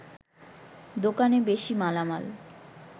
দোকানে বেশি মালামাল